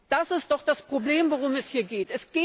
Das ist doch das Problem, um das es hier geht!